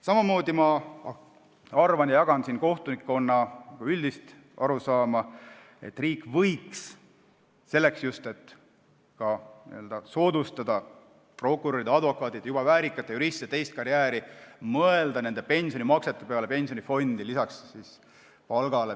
Samamoodi jagan ma kohtunikkonna üldist arusaama, et riik võiks, selleks just, et soodustada prokuröride, advokaatide ja juba väärikate juristide teist karjääri, mõelda pensionimaksete peale pensionifondi, lisaks palgale.